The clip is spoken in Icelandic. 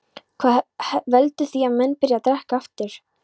Hvað veldur því að menn byrja að drekka aftur?